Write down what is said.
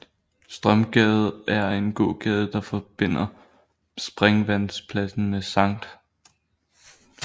Strømgade er en gågade der forbinder Springvandspladsen med Sct